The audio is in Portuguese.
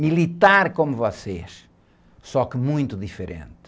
Militar como vocês, só que muito diferente.